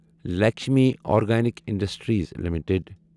Lakshmi organic industries limited